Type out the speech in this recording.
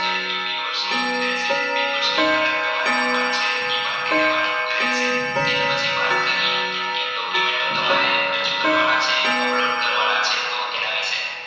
એ બે વર્ષની રહશે બે વર્ષની અંદર તમારે મકાન છે એ બાંધી દેવાનું રહેશે ત્યાર પછી વાત કરીયે કયા ક્યાં Document ટો તમાટે રજૂ કરવા ના છે upload કરવાના છે. તો તેના વિશે